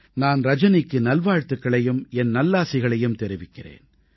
நான் ரஜனிக்கு நல்வாழ்த்துக்களையும் என் நல்லாசிகளையும் தெரிவிக்கிறேன்